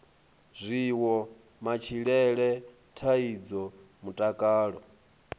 zwiwo matshilele dzithaidzo mutakalo